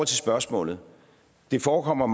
spørgsmålet forekommer